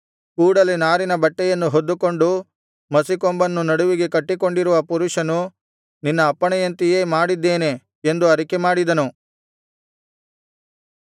ಕೂಡಲೆ ನಾರಿನ ಬಟ್ಟೆಯನ್ನು ಹೊದ್ದುಕೊಂಡು ಮಸಿಕೊಂಬನ್ನು ನಡುವಿಗೆ ಕಟ್ಟಿಕೊಂಡಿರುವ ಪುರುಷನು ನಿನ್ನ ಅಪ್ಪಣೆಯಂತೆಯೇ ಮಾಡಿದ್ದೇನೆ ಎಂದು ಅರಿಕೆಮಾಡಿದನು